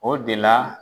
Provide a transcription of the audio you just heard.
O de la